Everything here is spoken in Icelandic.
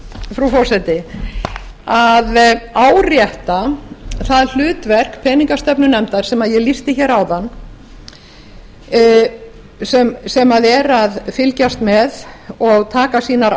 frú forseti að árétta það hlutverk peningastefnunefndar sem ég lýsti áðan sem er að fylgjast með og taka sínar